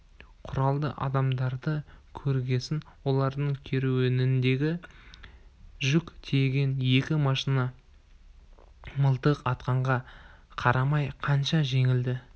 құралды адамдарды көргесін олардың керуеніндегі жүк тиеген екі машинасы мылтық атқанға қарамай қаша жөнелді